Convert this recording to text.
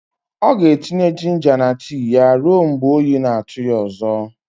Ọ ga-etinye jinja na tii ya ruo mgbe oyi na-atụ ya ọzọ.